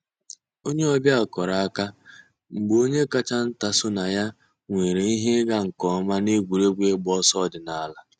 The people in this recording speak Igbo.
Ònyè ọ̀ bịa kùrùrù àkà mgbè ònyè káchà ńtà sọnà yà nwèrè íhè ị̀gà nkè ǒmà n'ègwè́régwụ̀ ị̀gba òsọ̀ òdìnàlà.